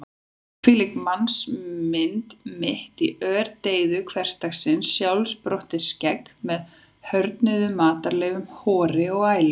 Hvílík mannsmynd mitt í ördeyðu hversdagsins: sjálfsprottið skegg með hörðnuðum matarleifum, hor og ælu.